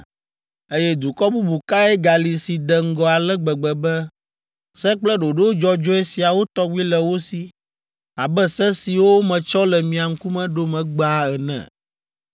Eye dukɔ bubu kae gali si de ŋgɔ ale gbegbe be, se kple ɖoɖo dzɔdzɔe siawo tɔgbi le wo si abe se siwo metsɔ le mia ŋkume ɖom egbea ene?